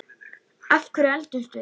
Af hverju eldumst við?